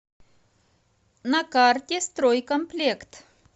на карте стройкомплект